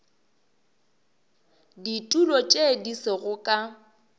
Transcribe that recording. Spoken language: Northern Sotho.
ditulo tše di sego ka